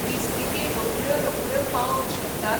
बिस्कीटी रोखड्या रोखड्यो पावोवंक शकतात?